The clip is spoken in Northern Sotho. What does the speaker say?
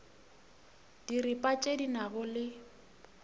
diripa tše di nago le